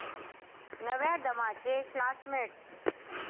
नव्या दमाचे 'क्लासमेट्स'!